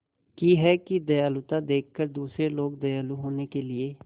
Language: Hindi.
की है कि दयालुता देखकर दूसरे लोग दयालु होने के लिए